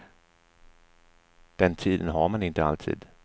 Den tiden har man inte alltid.